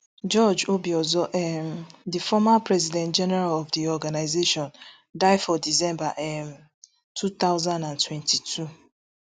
george obiozor um di former president general of di organisation die for december um two thousand and twenty-two